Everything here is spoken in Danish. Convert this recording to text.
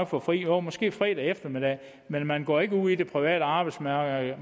få fri jo måske fredag eftermiddag men man går ikke ud på det private arbejdsmarked